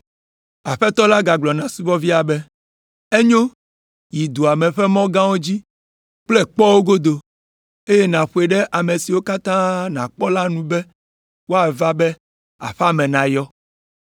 “Aƒetɔ la gagblɔ na subɔvia be, ‘Enyo, yi dua ƒe mɔ gãwo dzi kple kpɔwo godo, eye nàƒoe ɖe ame siwo katã nàkpɔ la nu be woava, be aƒea me nayɔ.